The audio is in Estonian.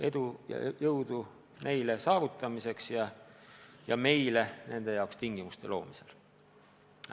Edu ja jõudu neile uuteks saavutusteks ja meile nende jaoks tingimuste loomisel!